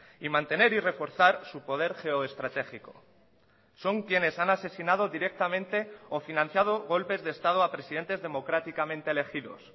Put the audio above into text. y mantener y reforzar su poder geoestratégico son quienes han asesinado directamente o financiado golpes de estado a presidentes democráticamente elegidos